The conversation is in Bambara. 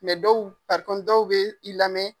dɔw, dɔw bi i lamɛn.